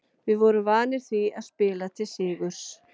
Við vorum vanir því að spila til sigurs.